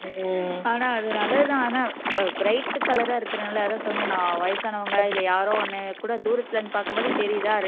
உம் ஆனா அது நல்லது தான் ஆனா பி bright color ஆ இருக்குறதுனால அதான் சொன்ன மாதிரி வயசானவங்க இல்ல யாரோ ஒண்ணு கூட தூரத்துல இருந்து பாக்கும் போதே தெரியுதா